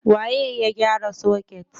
Waye ya gyara soket?